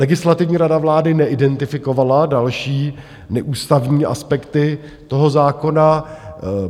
Legislativní rada vlády neidentifikovala další neústavní aspekty toho zákona.